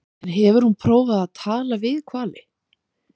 En hefur hún prófað að tala við hvali?